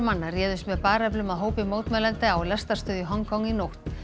manna réðust með bareflum að hópi mótmælenda á lestarstöð í Hong Kong í nótt